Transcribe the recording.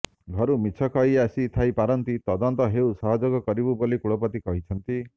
ଘରୁ ମିଛ କହି ଆସି ଥାଇ ପାରନ୍ତି ତଦନ୍ତ ହେଉ ସହଯୋଗ କରିବୁ ବୋଲି କୁଳପତି କହିଛନ୍ତି